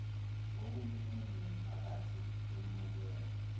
ngohulumeni nemiphakathi emukelwe